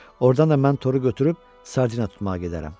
Ordan da mən toru götürüb sardina tutmağa gedərəm.